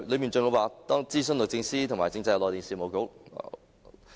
當中還說，諮詢了律政司和政制及內地事務局......